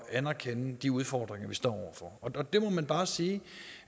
at anerkende de udfordringer vi står over for og der må man jo bare sige